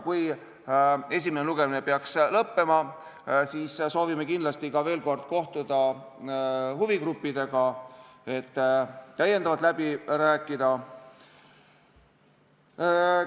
Kui esimene lugemine peaks lõppema, siis soovime kindlasti veel kord kohtuda huvigruppidega, et täiendavalt läbi rääkida.